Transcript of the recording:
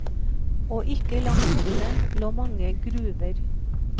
Og ikke langt borte lå mange gruver.